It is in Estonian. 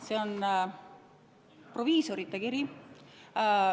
See on ühe proviisori kiri.